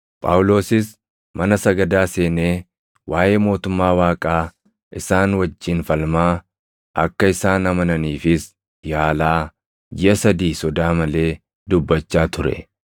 Phaawulosis mana sagadaa seenee waaʼee mootummaa Waaqaa isaan wajjin falmaa, akka isaan amananiifis yaalaa, jiʼa sadii sodaa malee dubbachaa ture.